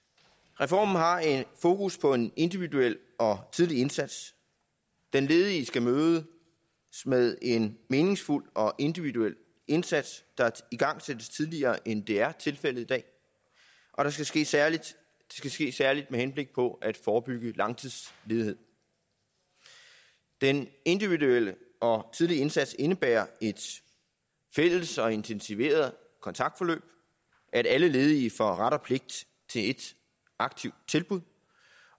reformen har fokus på en individuel og tidlig indsats den ledige skal mødes med en meningsfuld og individuel indsats der igangsættes tidligere end det er tilfældet i dag og det skal ske særlig ske særlig med henblik på at forebygge langtidsledighed den individuelle og tidlige indsats indebærer et fælles og intensiveret kontaktforløb at alle ledige får ret og pligt til et aktivt tilbud